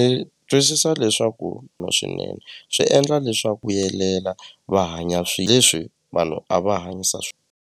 Ni twisisa leswaku na swinene swi endla leswaku vuyelela va hanya leswi vanhu a va hanyisa .